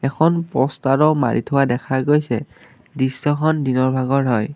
এখন প'ষ্টাৰো মাৰি থোৱা দেখা গৈছে দৃশ্যখন দিনৰ ভাগৰ হয়।